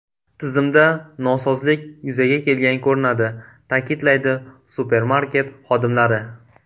Tizimda nosozlik yuzaga kelgan ko‘rinadi”, ta’kidlaydi supermarket xodimlari.